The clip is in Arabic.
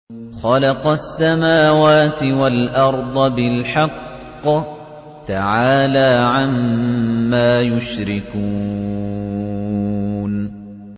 خَلَقَ السَّمَاوَاتِ وَالْأَرْضَ بِالْحَقِّ ۚ تَعَالَىٰ عَمَّا يُشْرِكُونَ